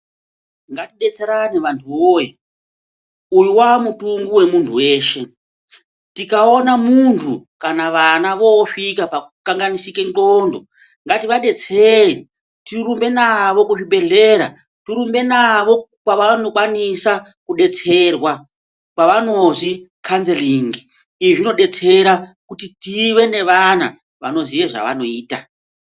Ngatidetserane vanhu woye uyu wamutungu wemunhu weshe tikaone vana kana munhu vosvika pakukanganisike nxlondo ngativadetsere tirumbe navo kuzvibhehleya tirumbe navo kwavanokwanisa kudetserwa kwavanozwi Kanzerin'i izvi zvinodetsera kuti tive nevana vanoziye zvavanoita.